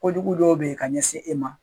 Kojugu dɔw bɛ yen ka ɲɛsin e ma.